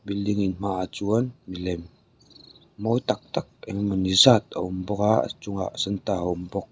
building in hmaah chuan mi lem mawi tak tak eng emaw ni zat a awm bawk a a chungah santa a awm bawk.